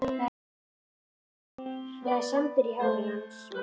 Það er sandur í hári hans.